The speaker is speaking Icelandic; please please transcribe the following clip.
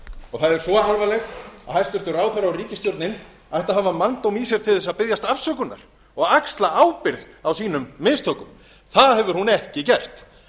er svo alvarlegt að hæstvirtur ráðherra og ríkisstjórnin ætti að hafa manndóm í sér til að biðjast afsökunar og axla ábyrgð á sínum mistökum það hefur hún ekki gert